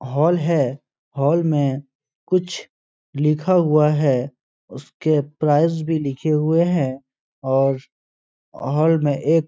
Hall है। Hall में कुछ लिखा हुआ है। उसके प्राइस भी लिखे हुए हैं और हॉल में एक --